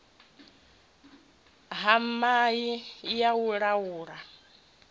ha mai ya u laula